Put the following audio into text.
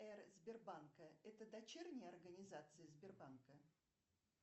сбербанка это дочерняя организация сбербанка